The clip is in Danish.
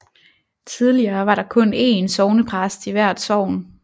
Tidligere var der kun én sognepræst i hvert sogn